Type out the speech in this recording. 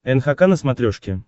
нхк на смотрешке